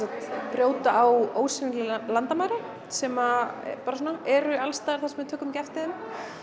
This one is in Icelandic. brjóta ósýnileg landamæri sem eru alls staðar þar sem við tökum ekki eftir þeim